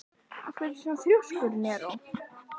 Af hverju ertu svona þrjóskur, Neró?